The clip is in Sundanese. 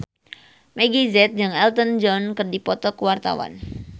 Meggie Z jeung Elton John keur dipoto ku wartawan